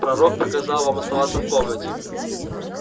пророк приказал вам оставаться в комнате